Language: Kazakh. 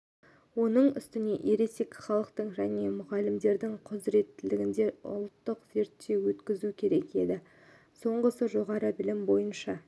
оның үстіне ересек халықтың және мұғалімдердің құзыреттеріне ұлттық зерттеу өткізу керек еді соңғысы жоғары білім бойынша